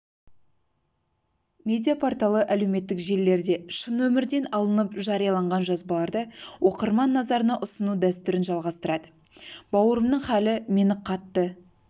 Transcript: медиа-порталы әлеуметтік желілерде шын өмірден алыныпжарияланған жазбаларды оқырман назарына ұсыну дәстүрін жалғастырады бауырымның халі мені қатты